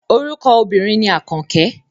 Orúkọ obìnrin ni Àkànkẹ́.